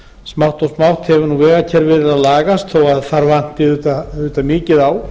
smátt og smátt hefur vegakerfið verið að lagast þó að þar vanti auðvitað mikið á